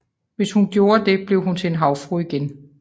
Hvis hun gjorde det blev hun til en havfrue igen